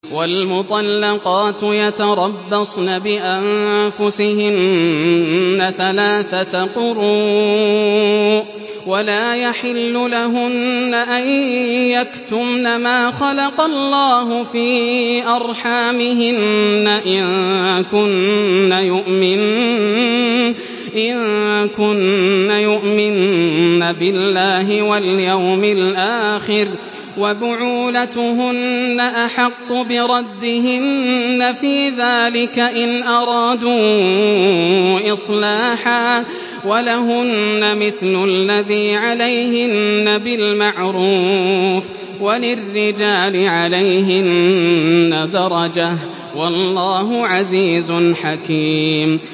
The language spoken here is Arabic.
وَالْمُطَلَّقَاتُ يَتَرَبَّصْنَ بِأَنفُسِهِنَّ ثَلَاثَةَ قُرُوءٍ ۚ وَلَا يَحِلُّ لَهُنَّ أَن يَكْتُمْنَ مَا خَلَقَ اللَّهُ فِي أَرْحَامِهِنَّ إِن كُنَّ يُؤْمِنَّ بِاللَّهِ وَالْيَوْمِ الْآخِرِ ۚ وَبُعُولَتُهُنَّ أَحَقُّ بِرَدِّهِنَّ فِي ذَٰلِكَ إِنْ أَرَادُوا إِصْلَاحًا ۚ وَلَهُنَّ مِثْلُ الَّذِي عَلَيْهِنَّ بِالْمَعْرُوفِ ۚ وَلِلرِّجَالِ عَلَيْهِنَّ دَرَجَةٌ ۗ وَاللَّهُ عَزِيزٌ حَكِيمٌ